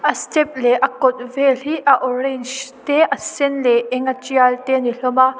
a step leh a kawt vel hi a orange te a sen leh a eng a tial te a ni hlawm a.